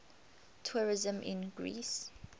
tourism in greece